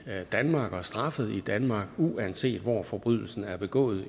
danmark og straffet i danmark uanset hvor forbrydelsen er begået